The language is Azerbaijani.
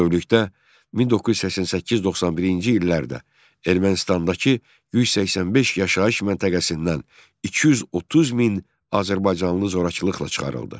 Bütövlükdə 1988-91-ci illərdə Ermənistandakı 185 yaşayış məntəqəsindən 230 min azərbaycanlı zorakılıqla çıxarıldı.